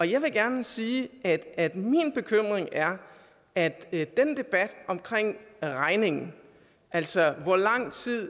jeg vil gerne sige at at min bekymring er at den debat omkring regningen altså hvor lang tid